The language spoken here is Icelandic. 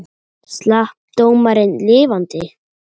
Slapp dómarinn lifandi?